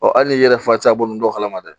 hali n'i yɛrɛ fa t'a bɔ kalama dɛ